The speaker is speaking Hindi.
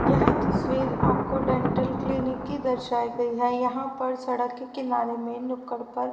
यह तस्वीर आपको डेंटल क्लिनिक की दर्शायी गई है यहां पर सड़क के किनारे में नुक्कड़ पर--